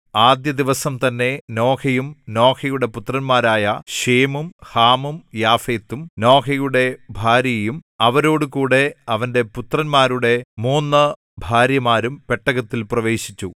ആദ്യ ദിവസം തന്നെ നോഹയും നോഹയുടെ പുത്രന്മാരായ ശേമും ഹാമും യാഫെത്തും നോഹയുടെ ഭാര്യയും അവരോടുകൂടെ അവന്റെ പുത്രന്മാരുടെ മൂന്നു ഭാര്യമാരും പെട്ടകത്തിൽ പ്രവേശിച്ചു